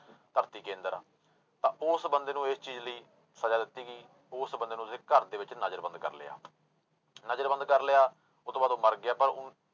ਧਰਤੀ ਕੇਂਦਰ ਆ, ਤਾਂ ਉਸ ਬੰਦੇ ਨੂੰ ਇਸ ਚੀਜ਼ ਲਈ ਸਜ਼ਾ ਦਿੱਤੀ ਗਈ, ਉਸ ਬੰਦੇ ਨੂੰ ਉਹਦੇ ਘਰਦੇ ਵਿੱਚ ਨਜ਼ਰਬੰਦ ਕਰ ਲਿਆ ਨਜ਼ਰਬੰਦ ਕਰ ਲਿਆ ਉਹ ਤੋਂ ਬਾਅਦ ਉਹ ਮਰ ਗਿਆ ਪਰ ਹੁਣ